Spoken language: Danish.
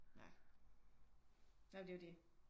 Nej nej men det er jo det